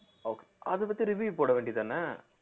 ok~ அதைப் பத்தி review போட வேண்டியதுதானே